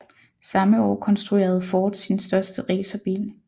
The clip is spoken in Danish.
Samme år konstruerede Ford sin første racerbil